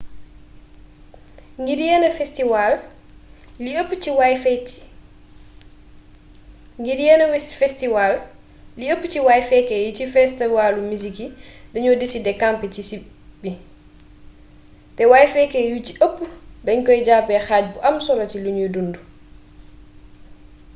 ngir yenn festiwaal li ëpp ci way-fekkee yi ci festiwaalu misik yi dañuy decidé campé ci si bi te way-fekkee yu ci ëpp dañ koy jàppee xaaj bu am solo ci luñuy dundu